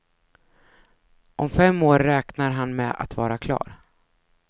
Om fem år räknar han med att vara klar.